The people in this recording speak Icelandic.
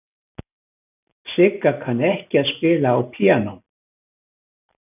Sigga kann ekki að spila á píanó.